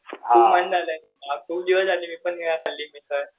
खूप दिवस झाले मी पण नाही खाल्ली मिसळ